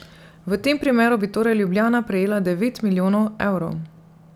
V tem primeru bi torej Ljubljana prejela devet milijonov evrov.